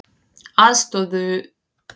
Aðstoðuðu vélarvana bát